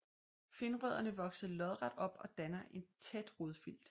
Finrødderne vokser lodret op og danner et tæt rodfilt